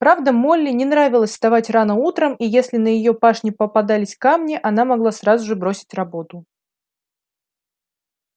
правда молли не нравилось вставать рано утром и если на её пашне попадались камни она могла сразу же бросить работу